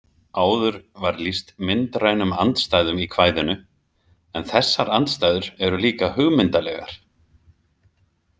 Áður var lýst myndrænum andstæðum í kvæðinu en þessar andstæður eru líka hugmyndalegar.